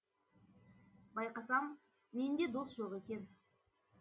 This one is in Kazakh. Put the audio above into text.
байқасам менде дос жоқ екен